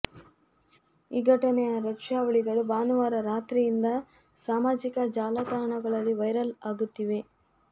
ಈ ಘಟನೆಯ ದೃಶ್ಯಾವಳಿಗಳು ಭಾನುವಾರ ರಾತ್ರಿಯಿಂದ ಸಾಮಾಜಿಕ ಜಾಲಾತಾಣಗಳಲ್ಲಿ ವೈರಲ್ ಅಗುತ್ತಿವೆ